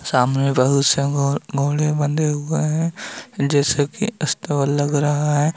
सामने बहुत सारे घोड़े बंधे हुए हैं। जैसे की अस्तबल लग रहा है।